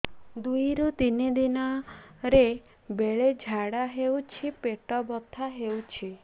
ଦୁଇରୁ ତିନି ଦିନରେ ବେଳେ ଝାଡ଼ା ହେଉଛି ପେଟ ବଥା ହେଉଛି